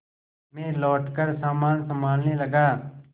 मैं लौटकर सामान सँभालने लगा